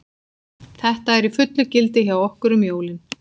Þetta er í fullu gildi hjá okkur um jólin.